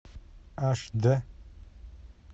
аш д